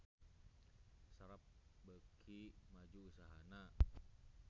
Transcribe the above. Sharp beuki maju usahana